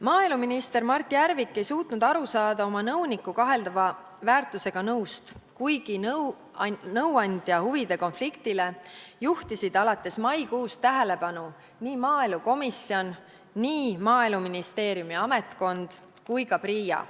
Maaeluminister Mart Järvik ei suutnud aru saada oma nõuniku kaheldava väärtusega nõust, kuigi nõuandja huvide konfliktile juhtisid alates maikuust tähelepanu nii maaelukomisjon, Maaeluministeeriumi ametkond kui ka PRIA.